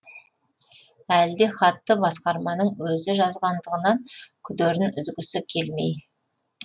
әлі де хатты басқарманың өзі жазғандығынан күдерін үзгісі келмей